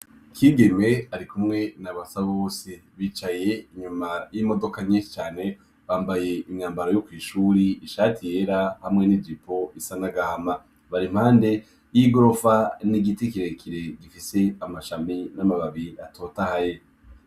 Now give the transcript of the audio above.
Kigeme arikumwe na Basabose bicaye inyuma y'imodoka nyishi cane bambaye umwambaro yo kw'ishuri ishati yera hamwe n'ijipo isa n'agahama. Bar'impande y'igorofa n'igiti kirekire gifise amashami n'amababi atotahaye.